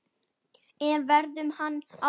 En verður hann áfram?